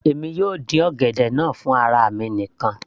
èmi yóò dín ọ̀gẹ̀dẹ̀ náà fún ara mi nìkan